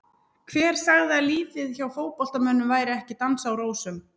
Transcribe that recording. Hver sagði að lífið hjá fótboltamönnum væri ekki dans á rósum?